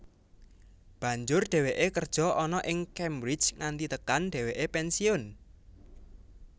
Banjur dheweke kerja ana ing Cambridge nganti tekan dheweke pensiun